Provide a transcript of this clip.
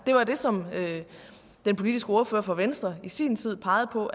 det var det som den politiske ordfører fra venstre i sin tid pegede på